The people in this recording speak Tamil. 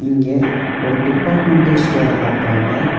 இங்க ஒரு டிப்பார்ட்மெண்டல் ஸ்டோர காட்றாங்க.